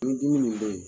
Ni dimi nin bɛ yen